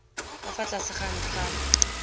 ka fa tlase ga ntlhana